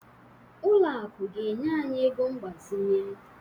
Ụlọ akụ ga-enye anyị ego mgbazinye